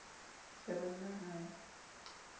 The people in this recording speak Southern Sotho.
ke re na ha e